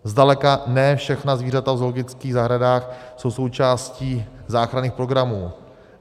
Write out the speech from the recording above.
Zdaleka ne všechna zvířata v zoologických zahradách jsou součástí záchranných programů.